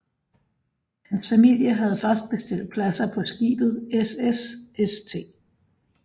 Hans familie havde først bestilt pladser på skibet SS St